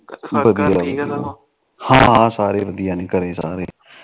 ਹਾ ਵਧੀਆ ਨੇ ਘਰੇ ਸਾਰੇ